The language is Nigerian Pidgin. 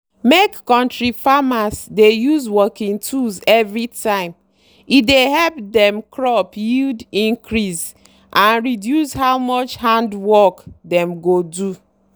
make kontri farmers dey use working tools everytime e dey help dem crop yield increase and reduce how much hand work dem go do.